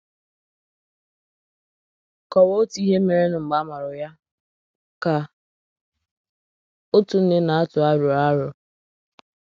“ Kọwaa ihe merenụ mgbe a mụrụ ya, ” ka otu nne na - atụ arọ arọ